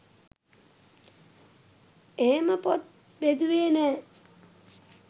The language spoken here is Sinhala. එහෙම පොත් බෙදුවේ නෑ